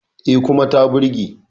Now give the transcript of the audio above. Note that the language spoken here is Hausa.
E, kuma ta burge.